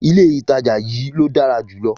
Ilé ìtajà yí ló dára jùlọ